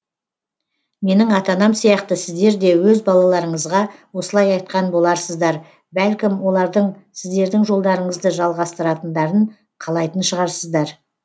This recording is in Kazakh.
менің ата анам сияқты сіздер де өз балаларыңызға осылай айтқан боларсыздар бәлкім олардың сіздердің жолдарыңызды жалғастыратындарын қалайтын шығарсыздар